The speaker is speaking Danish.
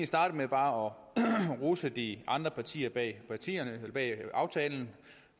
starte med bare at rose de andre partier bag partier bag aftalen